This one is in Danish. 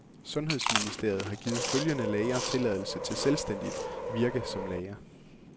Sundhedsministeriet har givet følgende læger tilladelse til selvstændigt virke som læger.